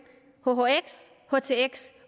hhx htx